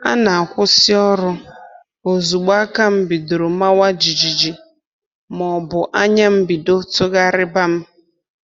A na-akwụsị ọrụ ozugbo aka m bidoro mawa jijiji ma ọ bụ anya m bido tụgharịba m